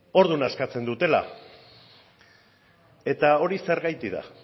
orduan askatzen dutela eta hori zurgaitik da